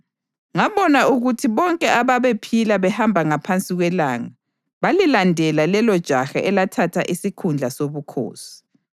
Ngabona ukuthi bonke ababephila behamba ngaphansi kwelanga balilandela lelojaha elathatha isikhundla sobukhosi.